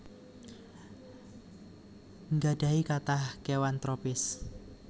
nggadhahi kathah kéwan tropis